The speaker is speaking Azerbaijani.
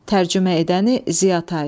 Tərcümə edəni Ziyatay.